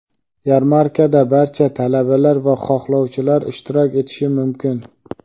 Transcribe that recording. Yarmarkada barcha talabalar va xohlovchilar ishtirok etishi mumkin.